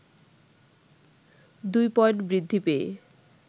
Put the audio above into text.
২ point বৃদ্ধি পেয়ে